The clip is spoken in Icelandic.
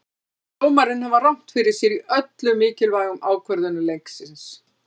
Mér fannst dómarinn hafa rangt fyrir sér í öllum mikilvægu ákvörðunum leiksins.